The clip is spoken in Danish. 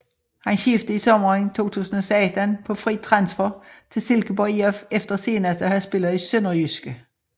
Han skiftede i sommeren 2016 på fri transfer til Silkeborg IF efter senest at have spillet i SønderjyskE